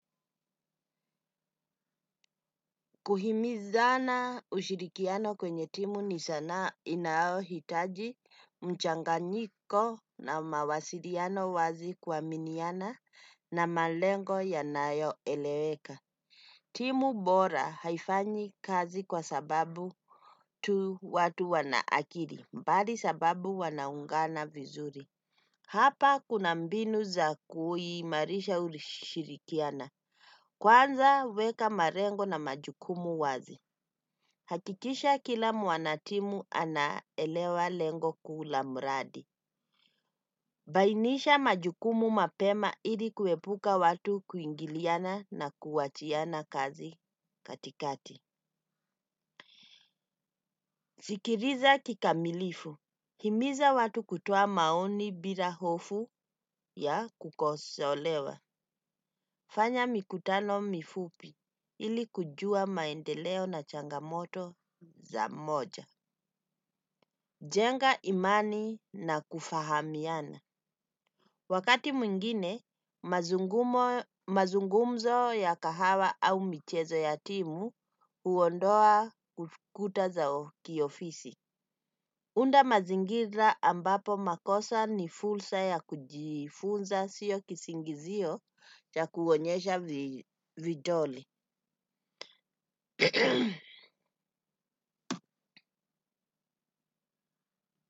Kuhimizana ushirikiano kwenye timu ni sanaa inaohitaji mchanganyiko na mawasiriano wazi kuaminiana na malengo yanayo eleweka. Timu bora haifanyi kazi kwa sababu tu watu wanaakiri, mbali sababu wanaungana vizuri. Hapa kuna mbinu za kuhimarisha ushirikiana. Kwanza weka marengo na majukumu wazi. Hakikisha kila mwanatimu anaelewa lengo kuu la muradi. Bainisha majukumu mapema ili kuepuka watu kuingiliana na kuwachiana kazi katikati. Zikiriza kikamilifu. Himiza watu kutoa maoni bila hofu ya kukosolewa. Fanya mikutano mifupi ili kujua maendeleo na changamoto za moja. Jenga imani na kufahamiana. Wakati mwingine, mazungumzo ya kahawa au michezo yatimu uondoa ukuta zao kiofisi. Unda mazingira ambapo makosa ni fulsa ya kujifunza sio kisingizio ya kuonyesha vidole.